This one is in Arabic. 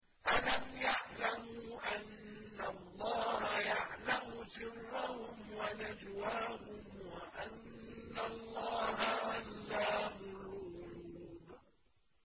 أَلَمْ يَعْلَمُوا أَنَّ اللَّهَ يَعْلَمُ سِرَّهُمْ وَنَجْوَاهُمْ وَأَنَّ اللَّهَ عَلَّامُ الْغُيُوبِ